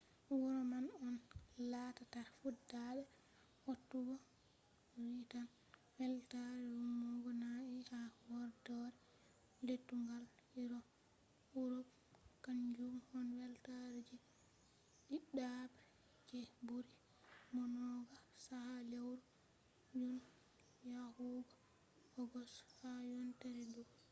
wuro man on lattata fuɗɗata waɗugo kwrital weltaare remugo na’i ha horɗoore lettugal urop kanjum on weltare je ɗiɗabre je ɓuri maunugo chaka lewru jun yahugo ogost ha yontere ɗo